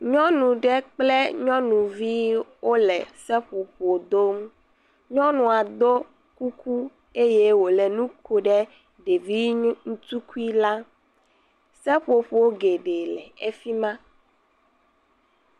Nyɔnu aɖe kple nyɔnuvi wole seƒoƒo dom nyɔnua do kuku eye wòle nu kom ɖe ɖevitukui la seƒoƒo geɖe le efima